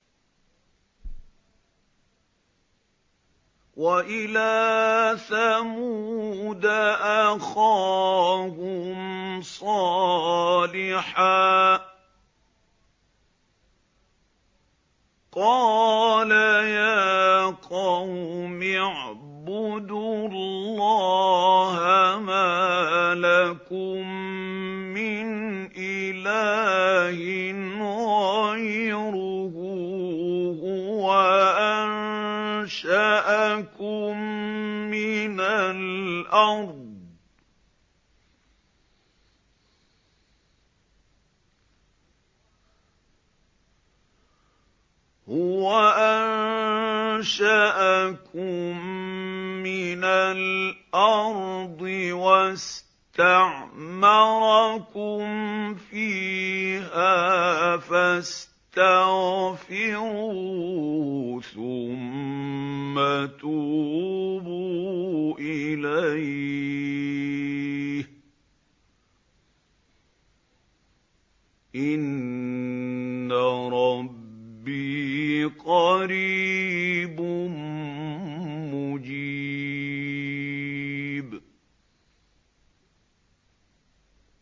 ۞ وَإِلَىٰ ثَمُودَ أَخَاهُمْ صَالِحًا ۚ قَالَ يَا قَوْمِ اعْبُدُوا اللَّهَ مَا لَكُم مِّنْ إِلَٰهٍ غَيْرُهُ ۖ هُوَ أَنشَأَكُم مِّنَ الْأَرْضِ وَاسْتَعْمَرَكُمْ فِيهَا فَاسْتَغْفِرُوهُ ثُمَّ تُوبُوا إِلَيْهِ ۚ إِنَّ رَبِّي قَرِيبٌ مُّجِيبٌ